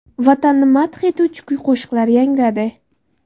Vatanni madh etuvchi kuy-qo‘shiqlar yangradi.